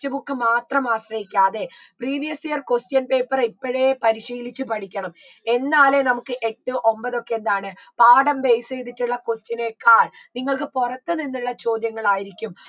text book മാത്രം ആശ്രയിക്കാതെ previous year question paper ഇപ്പഴേ പരിശീലിച്ചു പഠിക്കണം എന്നാലേ നമുക്ക് എട്ട് ഒമ്പതൊക്കെ എന്താണ് പാഠം base യ്തിട്ടുള്ള question നേക്കാൾ നിങ്ങക്ക് പുറത്തുനിന്നുള്ള ചോദ്യങ്ങൾ ആയിരിക്കും